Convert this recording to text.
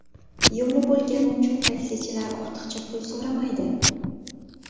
Yo‘li bo‘lgani uchun taksichilar ortiqcha pul so‘ramaydi.